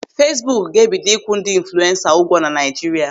Feesbuk ga-ebido ikwu ndị infulensa ụgwọ na Naịjirịa.